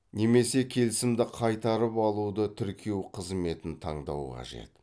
немесе келісімді қайтарып алуды тіркеу қызметін таңдау қажет